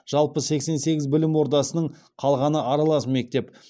жалпы сексен сегіз білім ордасының қалғаны аралас мектеп